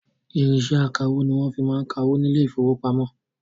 Irinṣẹ akawó ní wọn fi máa ń ka owó ní ile-ìfowópamó